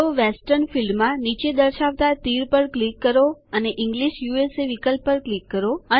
તો વેસ્ટર્ન ફીલ્ડમાં નીચે દર્શવતા તીર પર ક્લિક કરો અને ઇંગ્લિશ યુએસએ વિકલ્પ પર ક્લિક કરો